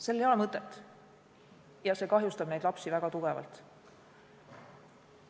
Sellel ei ole mõtet ja see kahjustab neid lapsi väga tugevalt.